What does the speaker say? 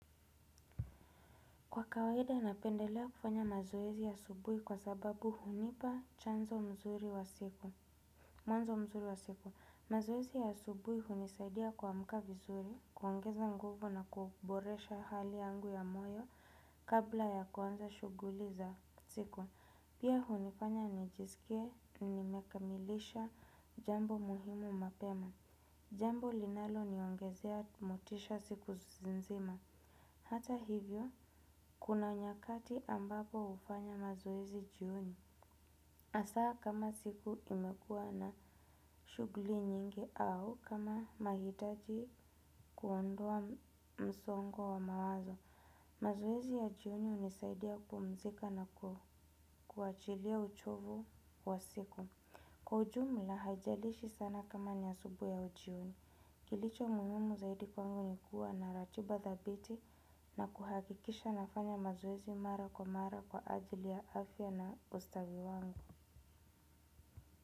Kwa kawaida napendelea kufanya mazoezi ya asubuhi kwa sababu hunipa chanzo nzuri wa siku. Mwanzo mzuri wa siku. Mazoezi ya asubuhi hunisaidia kuamka vizuri, kuongeza nguvu na kuboresha hali yangu ya moyo kabla ya kuanza shuguli za siku. Pia hunifanya nijisikie, nimekamilisha jambo muhimu mapema. Jambo linaloniongezea motisha siku nzima. Hata hivyo, kuna nyakati ambapo hufanya mazoezi jioni. Hasaa kama siku imekuwa na shugli nyingi au kama nahitaji kuondoa msongo wa mawazo. Mazoezi ya jioni hunisaidia kupumzika na kuachilia uchovu wa siku. Kwa ujumla haijalishi sana kama ni asubuhi au jioni. Kilicho muhimu zaidi kwangu ni kuwa na ratiba thabiti na kuhakikisha nafanya mazoezi mara kwa mara kwa ajili ya afya na ustawi wangu.